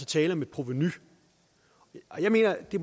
tale om et provenu jeg mener at det